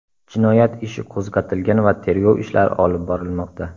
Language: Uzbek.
Jinoyat ishi qo‘zg‘atilgan va tergov ishlari olib borilmoqda.